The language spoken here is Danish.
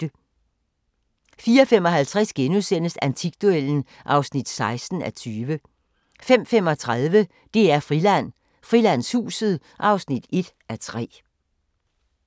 04:55: Antikduellen (16:20)* 05:35: DR-Friland: Frilandshuset (1:3)